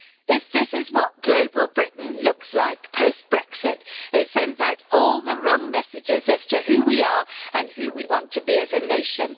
If this is what Global Britain looks like post Brexit, it sends out all the wrong messages as to who we are and who we want to be as a nation.